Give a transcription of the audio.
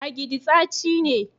" agidi" staci ne.